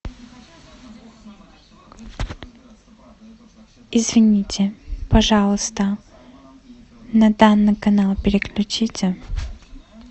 извините пожалуйста на данный канал переключите